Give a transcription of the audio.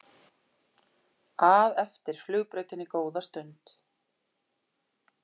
að eftir flugbrautinni góða stund.